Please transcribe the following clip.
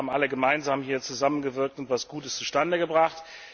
Ich denke, wir haben alle gemeinsam zusammengewirkt und etwas Gutes zustande gebracht.